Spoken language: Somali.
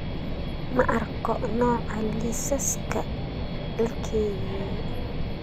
Ma arko nooca liisaska la keydiyay